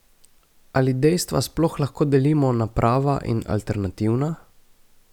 Ali dejstva sploh lahko delimo na prava in alternativna?